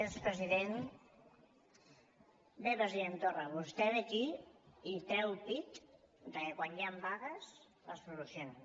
bé president torra vostè ve aquí i treu pit de que quan hi han vagues les soluciona